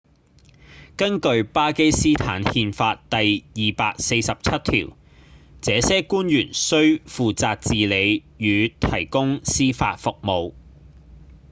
根據巴基斯坦憲法第247條這些官員需負責治理與提供司法服務